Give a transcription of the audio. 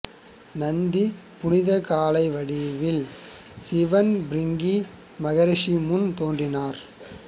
நந்தி புனித காளை வடிவத்தில் சிவன் பிரிங்கி மகரிஷி முன் தோன்றினார்